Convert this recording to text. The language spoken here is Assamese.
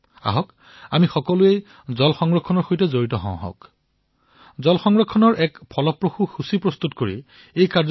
আহক আমি জল সংৰক্ষণৰ সৈতে জড়িত বিভিন্ন প্ৰক্ৰিয়াসমূহৰ এক সূচী প্ৰস্তুত কৰি জনতাক জল সংৰক্ষণৰ বাবে উৎসাহিত কৰো